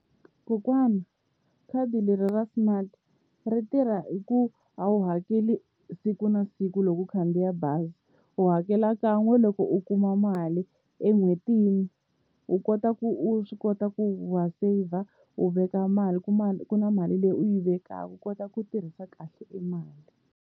Kokwani khadi leri ra smart ri tirha hi ku a wu hakeli siku na siku loko u khandziya bazi u hakela kan'we loko u kuma mali, en'hwetini u kota ku u swi kota ku wa saver u veka mali ku na mali leyi u yi vekaka u kota ku tirhisa kahle emali.